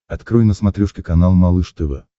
открой на смотрешке канал малыш тв